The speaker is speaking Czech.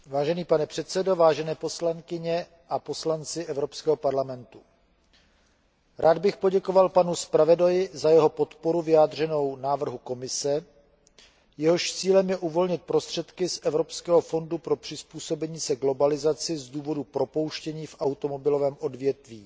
Vážený pane předsedo, vážené poslankyně a vážení poslanci Evropského parlamentu, rád bych poděkoval panu zpravodaji za jeho podporu vyjádřenou návrhu Komise, jehož cílem je uvolnit prostředky z Evropského fondu pro přizpůsobení se globalizaci z důvodu propouštění v automobilovém odvětví